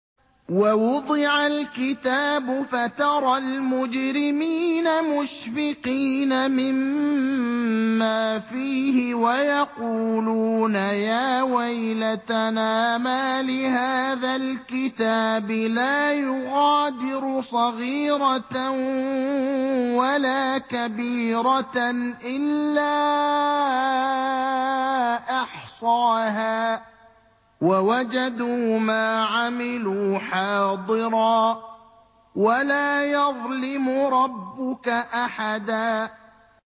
وَوُضِعَ الْكِتَابُ فَتَرَى الْمُجْرِمِينَ مُشْفِقِينَ مِمَّا فِيهِ وَيَقُولُونَ يَا وَيْلَتَنَا مَالِ هَٰذَا الْكِتَابِ لَا يُغَادِرُ صَغِيرَةً وَلَا كَبِيرَةً إِلَّا أَحْصَاهَا ۚ وَوَجَدُوا مَا عَمِلُوا حَاضِرًا ۗ وَلَا يَظْلِمُ رَبُّكَ أَحَدًا